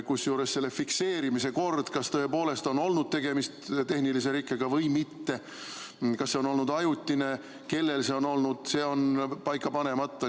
Kusjuures selle fikseerimise kord, kas tõepoolest oli tegemist tehnilise rikkega või mitte ja kas see oli ajutine või mitte – see on paika panemata.